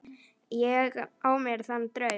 Ég á mér þann draum.